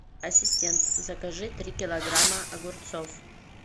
ассистент закажи три килограмма огурцов